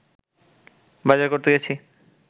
বাজার করতে গেছি